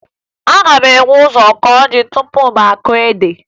Aga m ebu ụzọ kụọ ji tupu m kụọ ede